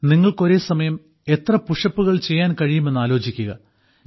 നിങ്ങൾക്ക് ഒരേ സമയം എത്ര പുഷപ്പുകൾ ചെയ്യാൻ കഴിയുമെന്ന് ആലോചിക്കുക